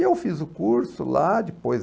E eu fiz o curso lá, depois...